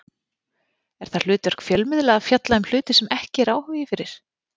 Er það hlutverk fjölmiðla að fjalla um hluti sem ekki er áhugi fyrir?